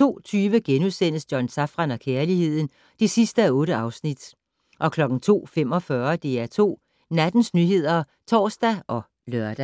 02:20: John Safran og kærligheden (8:8)* 02:45: DR2 Nattens nyheder (tor og lør)